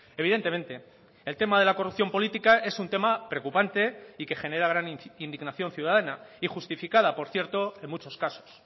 evidentemente el tema de la corrupción política es un tema preocupante y que genera gran indignación ciudadana y justificada por cierto en muchos casos